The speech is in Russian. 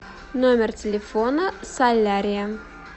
номер телефона солярия